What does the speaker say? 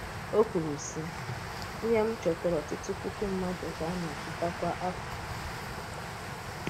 Ọ̀ kwùrù, sị̀: “Íhè m chọ̀tàrà ọ́tùtù̀ pùkù mmádù̀ ka na-àchọ̀tà kwa afọ̀.”